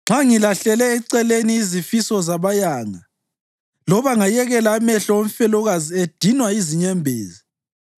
Nxa ngilahlele eceleni izifiso zabayanga loba ngayekela amehlo omfelokazi edinwa yizinyembezi,